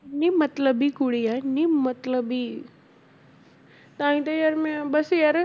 ਇੰਨੀ ਮਤਲਬੀ ਕੁੜੀ ਹੈ ਇੰਨੀ ਮਤਲਬੀ ਤਾਂ ਹੀ ਤੇ ਯਾਰ ਮੈਂ ਬਸ ਯਾਰ